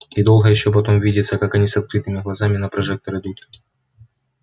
и долго ещё потом видится как они с открытыми глазами на прожектор идут